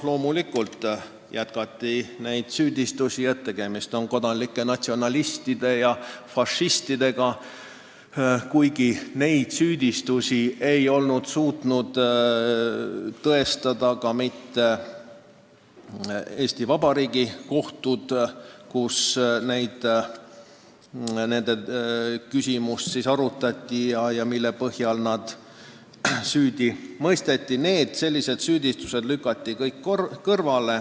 Loomulikult ei lõppenud süüdistused, et tegemist on kodanlike natsionalistide ja fašistidega, kuigi neid süüdistusi ei olnud suutnud tõestada ka mitte Eesti Vabariigi kohtud, kus nende küsimusi arutati ja kus nad süüdi mõisteti, kuigi kõik sellised süüdistused kummutati.